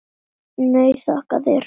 Nei, þakka þér fyrir.